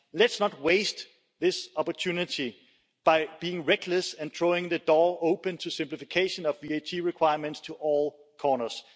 Let's not waste this opportunity by being reckless and throwing the door open to simplification of VAT requirements to all corners.